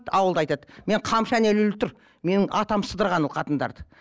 ауылда айтады мен қамшы әне ілулі тұр менің атам сыдырған ол қатындарды